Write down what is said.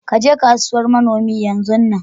Ka je kasuwar manoni yanzun nan.